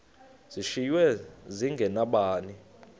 zishiywe zinge nabani